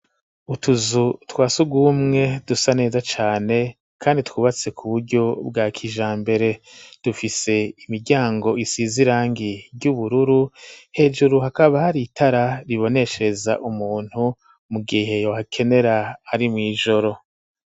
Utuzu twasugumwe dusa neza cane kandi twubatse ku buryo bwa kijambere dufise imiryango isize irangi ry'ubururu hejuru hakaba hari itara riboneshereza umuntu mu gihe yohakenera ari mw'ijoro.